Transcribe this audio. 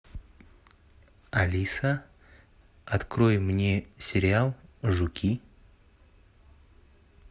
алиса открой мне сериал жуки